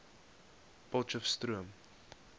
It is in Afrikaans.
potcheftsroom